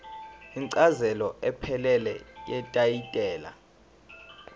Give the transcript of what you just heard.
incazelo ephelele yetayitela